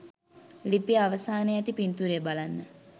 ලිපිය අවසානයේ ඇති පින්තූරය බලන්න.